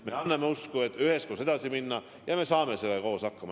Me anname usku, et üheskoos õnnestub edasi minna ja me saame sellega koos hakkama.